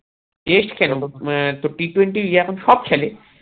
test কেন um তোর t twenty yeah এখন সব খেলে